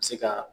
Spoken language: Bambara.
Se ka